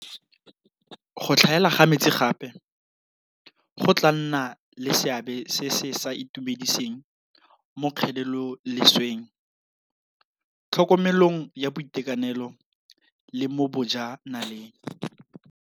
Go tlhaela ga metsi gape go tla nna le seabe se se sa itumediseng mo kgelelolesweng, tlhokomelong ya boitekanelo le mo boja naleng.